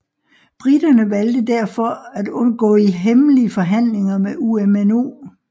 Briterne valgte derfor at gå i hemmelige forhandlinger med UMNO